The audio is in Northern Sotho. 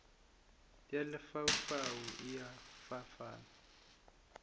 ya lefaufau e a fapana